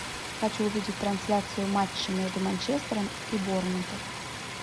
хочу увидеть трансляцию матча между манчестером и борнмутом